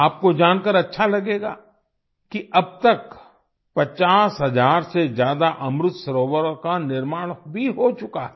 आपको जानकर अच्छा लगेगा कि अब तक 50 हजार से ज्यादा अमृत सरोवरों का निर्माण भी हो चुका है